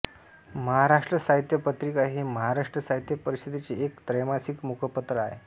महाराष्ट्र साहित्य पत्रिका हे महाराष्ट्र साहित्य परिषदेचे एक त्रैमासिक मुखपत्र आहे